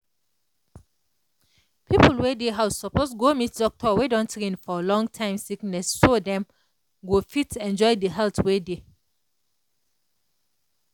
people wey dey house suppose go meet doctor wey don train for long-time sickness so dem go fit enjoy the health wey dey.